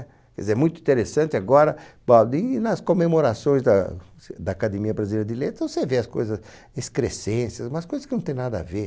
É muito interessante agora, bom ali nas comemorações da da Academia Brasileira de Letras, você vê as coisas, excrescências, umas coisas que não têm nada a ver.